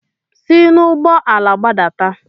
Si n'ụgbọ ala gbadata!